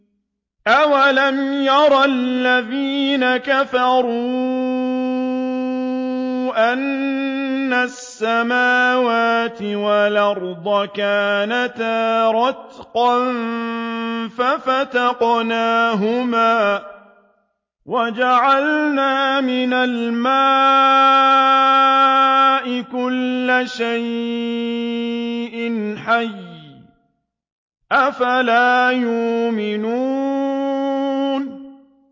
أَوَلَمْ يَرَ الَّذِينَ كَفَرُوا أَنَّ السَّمَاوَاتِ وَالْأَرْضَ كَانَتَا رَتْقًا فَفَتَقْنَاهُمَا ۖ وَجَعَلْنَا مِنَ الْمَاءِ كُلَّ شَيْءٍ حَيٍّ ۖ أَفَلَا يُؤْمِنُونَ